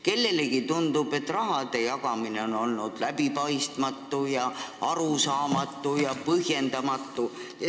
Kellelegi tundub, et raha jagamine on olnud läbipaistmatu, arusaamatu ja põhjendamatu.